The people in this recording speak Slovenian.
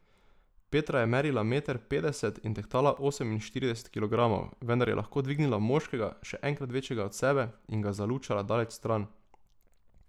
Petra je merila meter petdeset in tehtala oseminštirideset kilogramov, vendar je lahko dvignila moškega, še enkrat večjega od sebe, in ga zalučala daleč stran.